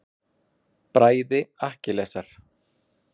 Bræði Akkilesar.